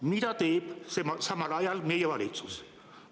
Mida teeb samal ajal meie valitsus?